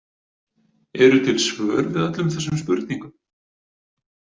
Eru til svör við öllum þessum spurningum?